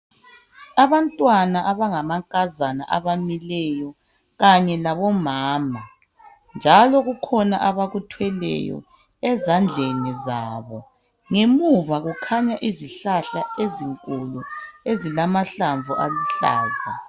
Abantwana abangamankazana abamileyo kanye labomama, njalo kukhona abakuthweleyo ezandleni zabo. Ngemuva kukhanya izihlahla ezinkulu ezilamahlamvu aluhlaza.